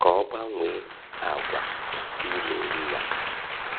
ka ọ gbanwee àgwà iri nri ya.